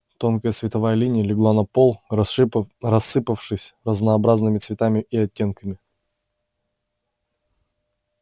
тонкая световая линия легла на пол рассыпавшись разнообразными цветами и оттенками